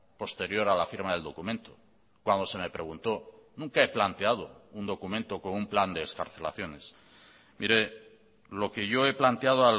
posterior a la firma del documento cuando se me preguntó nunca he planteado un documento con un plan de excarcelaciones mire lo que yo he planteado